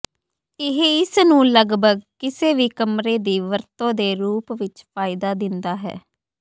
ਇਹ ਇਸ ਨੂੰ ਲਗਭਗ ਕਿਸੇ ਵੀ ਕਮਰੇ ਦੀ ਵਰਤੋ ਦੇ ਰੂਪ ਵਿੱਚ ਫਾਇਦਾ ਦਿੰਦਾ ਹੈ